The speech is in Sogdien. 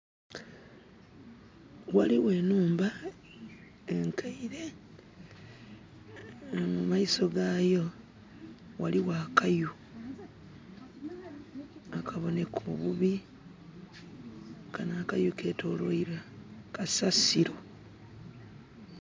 Ghaligho enhumba enkaile. Mu maiso gaayo ghaligho akayu akaboneka obubi. Kano akayu ketoloirwa kasasilo.